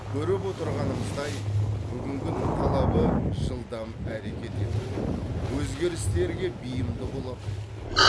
көріп отырғанымыздай бүгінгінің талабы жылдам әрекет ету өзгерістерге бейімді бола білу